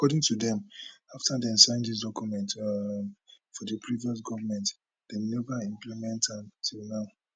according to dem afta dem sign dis document um for di previous goment dem neva implement am till now